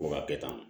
Ko ka kɛ tan